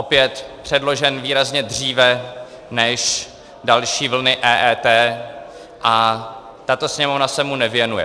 Opět - předložen výrazně dříve než další vlny EET, a tato Sněmovna se mu nevěnuje.